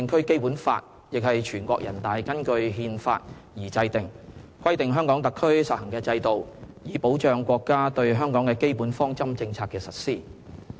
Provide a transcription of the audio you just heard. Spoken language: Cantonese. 《基本法》亦是全國人大根據《憲法》而制定的，規定香港特區實行的制度，以保障國家對香港的基本方針政策的實施。